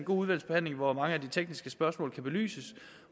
udvalgsbehandling hvor mange af de tekniske spørgsmål kan belyses